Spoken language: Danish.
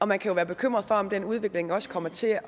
man kan jo være bekymret for om den udvikling også kommer til